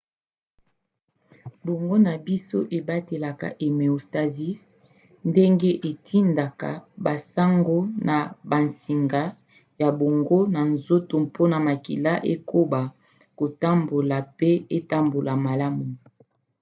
boongo na biso ebatelaka homéostasie ndenge etindaka basango na bansinga ya boongo na nzoto mpona makila ekoba kotambola pe etambola malamu